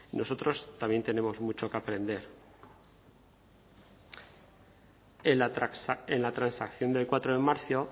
nosotros también tenemos mucho que aprender en la transacción del cuatro de marzo